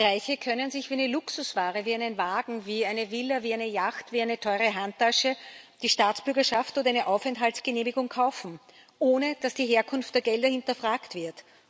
Reiche können sich wie eine Luxusware, wie einen Wagen, wie eine Villa, wie eine Yacht, wie eine teure Handtasche die Staatsbürgerschaft oder eine Aufenthaltsgenehmigung kaufen, ohne dass die Herkunft der Gelder hinterfragt wird.